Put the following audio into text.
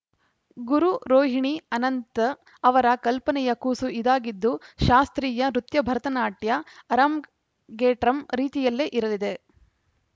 ಗುರು ರೋಹಿಣಿ ಅನಂತ್‌ ಅವರ ಕಲ್ಪನೆಯ ಕೂಸು ಇದಾಗಿದ್ದು ಶಾಸ್ತ್ರೀಯ ನೃತ್ಯ ಭರತನಾಟ್ಯ ಅರಂಗೇಟ್ರಂ ರೀತಿಯಲ್ಲೇ ಇರಲಿದೆ